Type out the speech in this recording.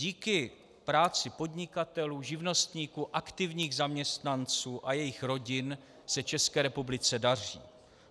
Díky práci podnikatelů, živnostníků, aktivních zaměstnanců a jejich rodin se České republice daří.